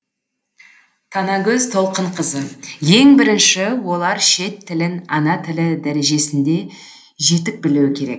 танагөз толқынқызы ең бірінші олар шет тілін ана тілі дәрежесінде жетік білуі керек